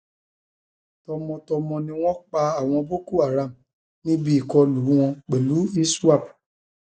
tọmọtọmọ ni wọn pa àwọn boko haram níbi ìkọlù wọn pẹlú iswap